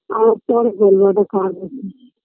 আর পরে বলবো একটা কাজ আছে